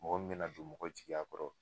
Mɔgɔ mina don mɔgɔ jigiya kɔrɔ